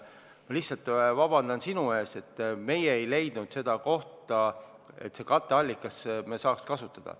Ma lihtsalt palun sult vabandust, me ei leidnud kohta, et seda katteallikat saaks kasutada.